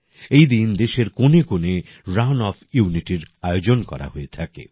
এই দিন দেশের কোনে কোনে রান ফোর Unityর আয়োজন করা হয়ে থাকে